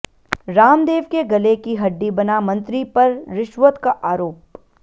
रामदेव के गले की हड्डी बना मंत्री पर रिश्वत का आरोप